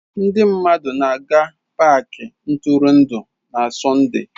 Ndị mmadụ na-aga paaki ntụrụndụ na Sọnde.